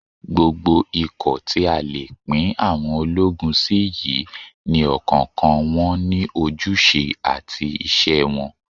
Gbogbo ikọ̀ tí a lè pín àwọn ológun sí yìí ni ọ̀kọ̀ọ̀kan wọn ní ojúṣe àti iṣẹ́ wọn